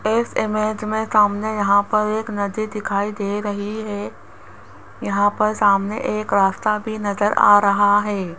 इस इमेज में सामने यहाँ पर एक नदी दिखाई दे रही है यहाँ पर सामने एक रास्ता भी नजर आ रहा है।